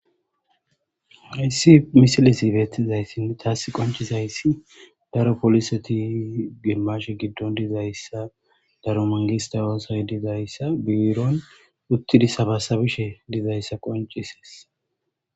Haysi misilezi beetizasi tas qoncisizaysi daro polisete gimashe gidon de'ezaysa daro mangiste oosoy dizaysa biiron uthidi sabasabishe de'izaysa qoncises.